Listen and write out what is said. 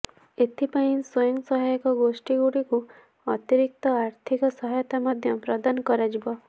ଏଥିପାଇଁ ସ୍ୱୟଂ ସହାୟକ ଗୋଷ୍ଠୀଗୁଡିକୁ ଅତିରିକ୍ତ ଆର୍ଥିକ ସହାୟତା ମଧ୍ୟ ପ୍ରଦାନ କରାଯିବ